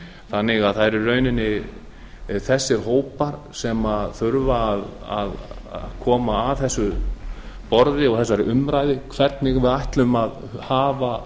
þannig að það eru í rauninni þessir hópar sem þurfa að koma að þessu borði og þessari umræðu hvernig við ætlum að hafa